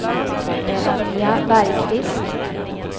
Sonja Bergqvist